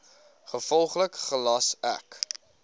gevolglik gelas ek